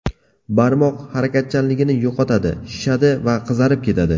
Barmoq harakatchanligini yo‘qotadi, shishadi va qizarib ketadi.